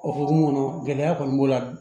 O hokumu kɔnɔ gɛlɛya kɔni b'o la